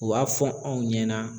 U b'a fɔ anw ɲɛna